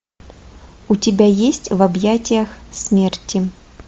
у тебя есть в объятиях смерти